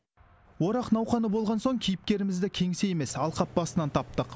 орақ науқаны болған соң кейіпкерімізді кеңсе емес алқап басынан таптық